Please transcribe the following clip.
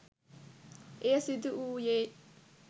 එය සිදුවූයේ